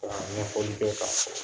taara ɲɛfɔli kɛ k'a sɛbɛ